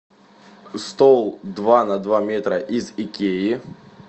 стол два на два метра из икеи